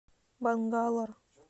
бангалор